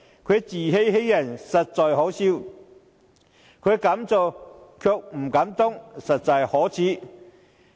他自欺欺人，實在可笑；他敢做卻不敢當，實在可耻。